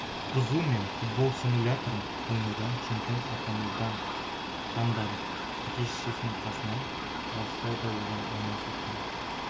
бұзу мен футбол стимуляторын ойнаудан чемпион атанудан танбады әке-шешенің қасынан алыстау да оған оңай соққан